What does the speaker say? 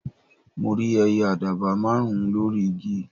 mo rí ẹyẹ àdàbà márùn ùn lórí igi